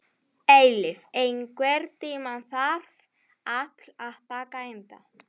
Eilíf, einhvern tímann þarf allt að taka enda.